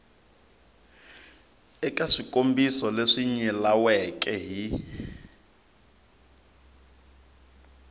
eka swikombiso leswi nyilaweke hi